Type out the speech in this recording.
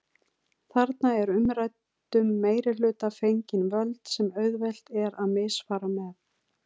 Þarna er umræddum meirihluta fengin völd sem auðvelt er að misfara með.